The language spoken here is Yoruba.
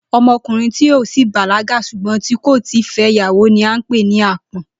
O̩mo̩kùnrin tí ó ti bàlágà s̩ùgbó̩n tí kò ì tíì fé̩ ìyàwó ni à ń pè ní àpó̩n